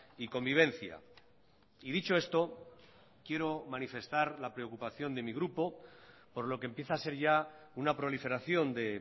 y convivencia y dicho esto quiero manifestar la preocupación de mi grupo por lo que empieza a ser ya una proliferación de